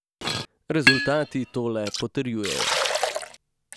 Rezultati to le potrjujejo.